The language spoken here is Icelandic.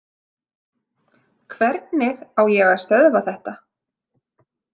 Hvernig á ég að stöðva þetta?